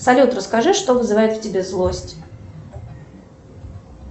салют расскажи что вызывает в тебе злость